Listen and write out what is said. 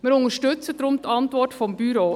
Wir unterstützen deshalb die Antwort des Büros.